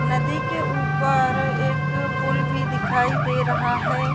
नदी के ऊपर एक पूल भी दिखाई दे रहा है।